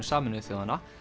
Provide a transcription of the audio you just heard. Sameinuðu þjóðanna